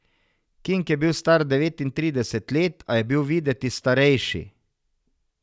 King je bil star devetintrideset let, a je bil videti starejši.